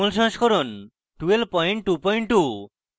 jmol সংস্করণ 1222